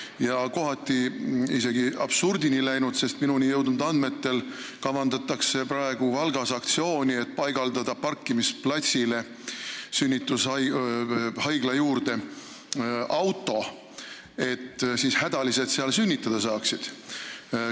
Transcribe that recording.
See on kohati isegi absurdini läinud, sest minu andmetel kavandatakse Valgas aktsiooni, et paigaldada sünnitushaigla juurde parkimisplatsile auto, kus hädalised sünnitada saaksid.